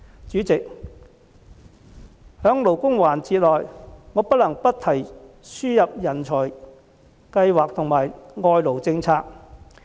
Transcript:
主席，在關乎勞工的辯論環節中，我不能不提輸入人才和外勞政策。